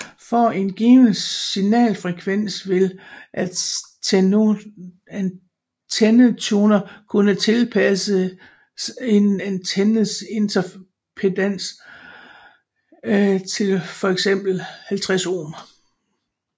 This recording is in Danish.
For en given signalfrekvens vil antennetuner kunne tilpasse en antennes impedans til fx 50 ohm